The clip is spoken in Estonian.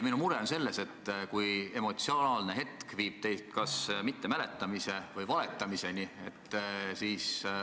Minu mure on selles, et emotsionaalne hetk viib teid kas mittemäletamise või valetamiseni.